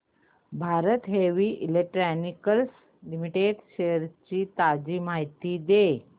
Bharat heavy electricals limited shares ची ताजी माहिती दे